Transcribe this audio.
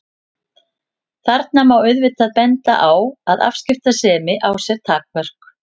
Þarna má auðvitað benda á að afskiptasemi á sér takmörk.